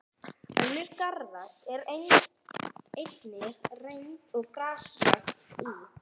Önnur garðrækt var einnig reynd, svo og grasrækt í